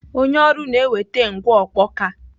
Onye ọrụ na-eweta ngwa ọkpọka.